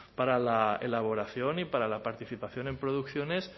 para la elaboración y para la participación en producciones